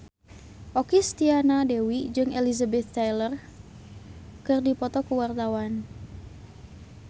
Okky Setiana Dewi jeung Elizabeth Taylor keur dipoto ku wartawan